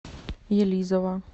елизово